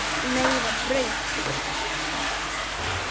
Meira brauð, piltar?